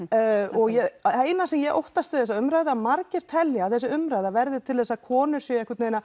og það eina sem ég óttast við þessa umræðu er að margir telja að þessi umræða verði til þess að konur séu einhvern veginn að